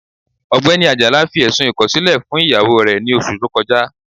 Ọgbẹni Ajala fi ẹ̀ṣùn ikọ̀silẹ̀ fún iyawó rẹ̀ ní ọṣù tó kọja.